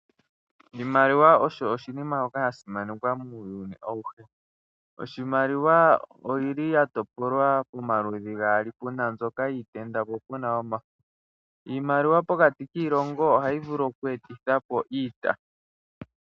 Oshimaliwa osho oshinima shoka shasimanekwa unene muuyuni awuhe. Iimaliwa oyi li yatopolwa pomaluudhi gaali pena mbyoka yiitenda po puna yoomafo. Iimaliwa pokati kiilongo ohayi vulu oku etitha po iita.